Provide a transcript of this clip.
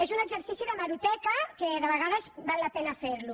és un exercici d’hemeroteca que de vegades val la pena fer lo